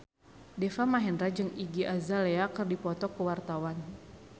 Deva Mahendra jeung Iggy Azalea keur dipoto ku wartawan